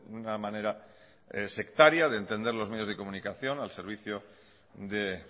una manera sectaria de entender los medios de comunicación al servicio de